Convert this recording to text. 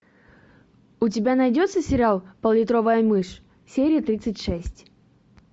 у тебя найдется сериал пол литровая мышь серия тридцать шесть